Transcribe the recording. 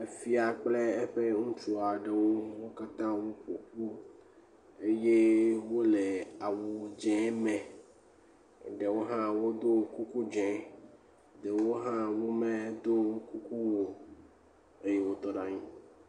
Fia kple eƒe ŋutsu aɖewo, wo katã woƒo ƒu eye wole awu dzẽ me. Eɖewo hã wodo kuku dzẽ. Ɖewo hã womedo kuku o, eye wotɔ ɖe anyi.